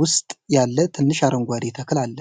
ውስጥ ያለ ትንሽ አረንጓዴ ተክል አለ።